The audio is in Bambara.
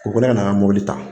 Ko ko ne ka na n ka mɔbili ta.